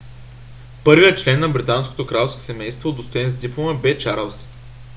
първият член на британското кралско семейство удостоен с диплома бе чарлз